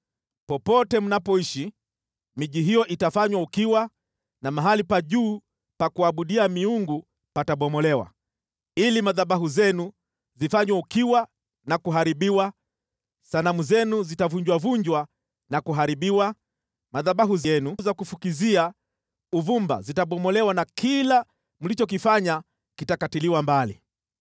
Popote mnapoishi, miji hiyo itafanywa ukiwa na mahali pa juu pa kuabudia miungu patabomolewa, ili madhabahu yenu ifanywe ukiwa na kuharibiwa, sanamu zenu zitavunjavunjwa na kuharibiwa, madhabahu yenu ya kufukizia uvumba yatabomolewa na kila mlichokifanya kitakatiliwa mbali.